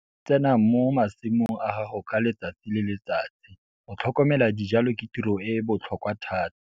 Tsena mo masimong a gago ka letsatsi le letsatsi - go tlhokomela dijalo ke tiro e e botlhokwa thata.